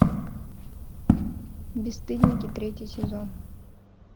бесстыдники третий сезон